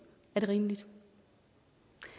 er det rimeligt